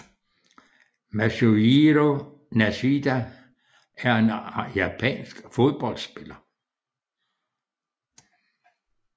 Masujiro Nishida var en japansk fodboldspiller